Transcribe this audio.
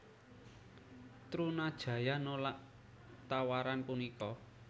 Trunajaya nolak tawaran punika